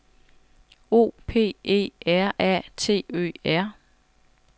O P E R A T Ø R